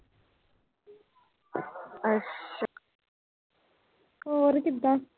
ਹੋਰ ਕਿਦਾਂ।